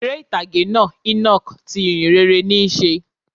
Eré ìtàgé náá "Enoch" ti ìhìnrere níí se